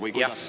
Või kuidas?